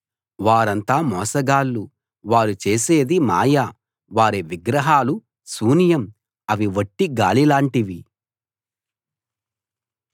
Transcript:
వారంతా మోసగాళ్ళు వారు చేసేది మాయ వారి విగ్రహాలు శూన్యం అవి వట్టి గాలిలాంటివి